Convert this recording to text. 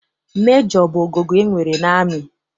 Mejọ bụ ogogo e nwere n'amị.